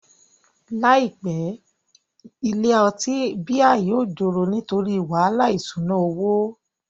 Ní àìpé, ilé ọtí bíà yóò joro nítorí wàhálà ìṣúná owó